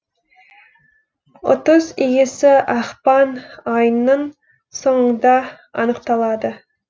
ұтыс иесі ақпан айының соңында анықталады